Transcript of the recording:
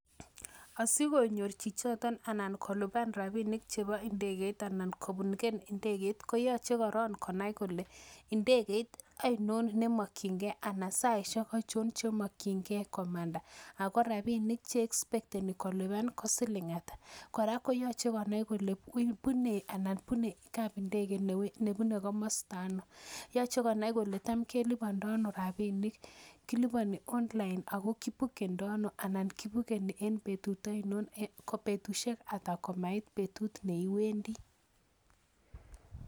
Asikonyor chichito anan kolipan rabinikchebo indegeit anan kobuken ndegeit koyoche korong konai kole ndegeit ainon nemokinge anan saishek achon chemokinge komanda ago rabinik che expekeni kolipan ko siling ata kora koyoche konai kole bune kapindege nebune komosta ano. Yoche konai kole tam kelipondono rabinik, kiliponi online ago kibukendo, anan kibukeni en betut ainon, ko betushek ata komait betut ne iwendi.